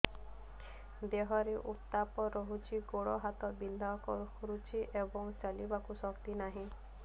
ଦେହରେ ଉତାପ ରହୁଛି ଗୋଡ଼ ହାତ ବିନ୍ଧା କରୁଛି ଏବଂ ଚାଲିବାକୁ ଶକ୍ତି ନାହିଁ